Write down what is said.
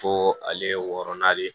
Fo ale ye wɔɔrɔnan de ye